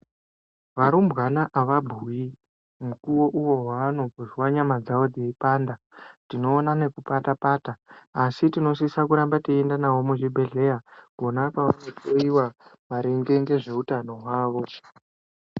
Varumbwana avabhuyi, mukuwo uyo wavanozwa nyama dzavo dzeipanda, tinoona nekupata-pata, asi tinosisa kuramba teienda navo muzvibhedhleya kona kwavanohloiwa maringe nezveutano hwavo.